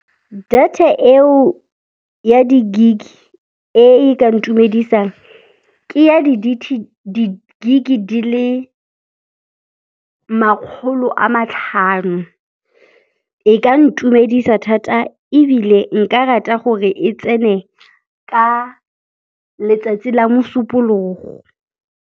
Data eo ya di-gig, e e ka ntumedisang ke ya di-gig di le makgolo a matlhano. E ka ntumedisa thata ebile nka rata gore e tsene ka letsatsi la Mosupologo.